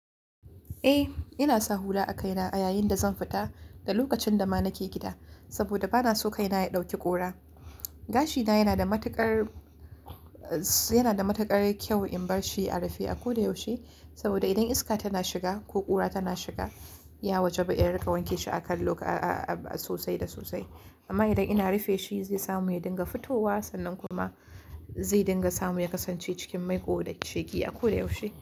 Eh, ina sa hula a kaina a yayin da zan fita da lokacin da ma nake gida, saboda ba na so kaina ya ɗauki ƙura. Gashina yana da matuƙar, yana da matuƙar kyau in bar shi a rufe a ko da yaushe, saboda idan iska tana shiga ko ƙura tana shiga, ya waje ba in ringa wanke shi a kallo a-a-a sosai da sosai. Amma idan ina rufe shi, zai samu ya dinga fitowa sannan kuma zai dinga samu ya kasance cikin mai ko da sheƙi a ko da yaushe.